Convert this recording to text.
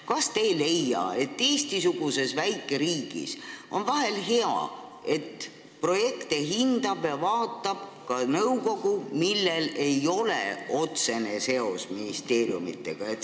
" Kas te ei leia, et Eesti-suguses väikeriigis on vahel hea, et projekte hindab ja vaatab ka nõukogu, millel ei ole otsest seost ministeeriumidega?